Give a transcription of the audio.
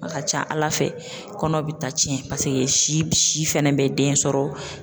A ka ca ala fɛ kɔnɔ bɛ ta tiɲɛn paseke si si fɛnɛ bɛ den sɔrɔ.